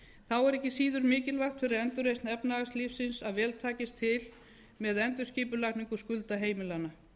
þá er ekki síður mikilvægt fyrir endurreisn efnahagslífsins að vel takist til með endurskipulagningu skulda heimilanna